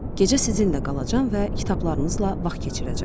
Gecə sizinlə qalacam və kitablarınızla vaxt keçirəcəm.